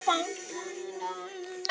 Og Sara gerði það.